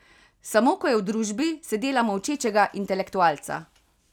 Samo ko je v družbi, se dela molčečega intelektualca.